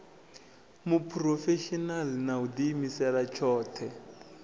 muphurofeshinala na u diimisela tshothe